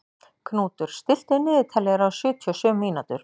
Knútur, stilltu niðurteljara á sjötíu og sjö mínútur.